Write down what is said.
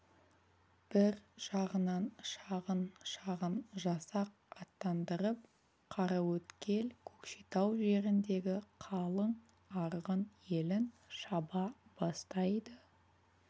бір жағынан шағын-шағын жасақ аттандырып қараөткел көкшетау жеріндегі қалың арғын елін шаба бастайды